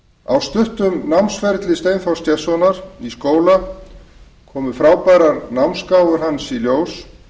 á stuttum námsferli steinþórs gestssonar í skóla komu frábærar námsgáfur hans í ljós